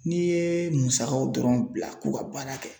N'i ye musakaw dɔrɔn bila k'u ka baara kɛ